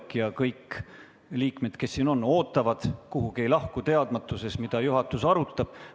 Samal ajal kõik liikmed, kes siin on, ootavad, kuhugi ei lahku, teadmata, mida juhatus arutab.